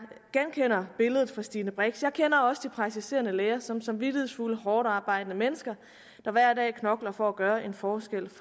genkender billedet fra fru stine brix jeg kender også de praktiserende læger som samvittighedsfulde hårdtarbejdende mennesker der hver dag knokler for at gøre en forskel